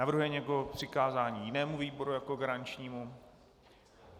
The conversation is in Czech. Navrhuje někdo přikázání jinému výboru jako garančnímu?